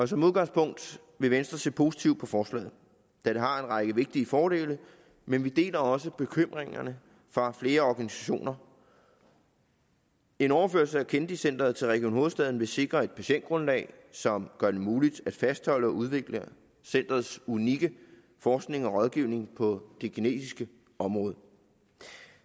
som udgangspunkt vil venstre se positivt på forslaget da det har en række vigtige fordele men vi deler også bekymringerne fra flere organisationer en overførsel af kennedy centret til region hovedstaden vil sikre et patientgrundlag som gør det muligt at fastholde og udvikle centerets unikke forskning og rådgivning på det genetiske område